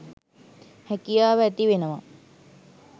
හැකියාව ඇතිවෙනවා